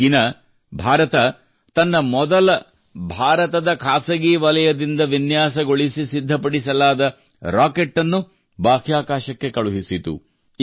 ಈ ದಿನ ಭಾರತವು ತನ್ನ ಮೊದಲ ಭಾರತದ ಖಾಸಗಿ ವಲಯದಿಂದ ವಿನ್ಯಾಸಗೊಳಿಸಿ ಸಿದ್ಧಪಡಿಸಲಾದ ರಾಕೆಟ್ ಅನ್ನು ಬಾಹ್ಯಾಕಾಶಕ್ಕೆ ಕಳುಹಿಸಿತು